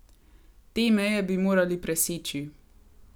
Te meje bi morali preseči.